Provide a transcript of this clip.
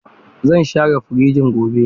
Zan share firijin gobe.